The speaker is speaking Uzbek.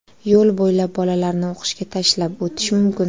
Yo‘l bo‘ylab bolalarni o‘qishga tashlab o‘tish mumkin.